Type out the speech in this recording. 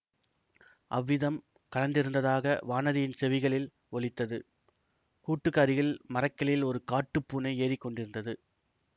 அவ்விதம் கலந்திருந்ததாக வானதியின் செவிகளில் ஒலித்தது கூட்டுக்கு அருகில் மரக்கிளையில் ஒரு காட்டுப் பூனை ஏறி கொண்டிருந்தது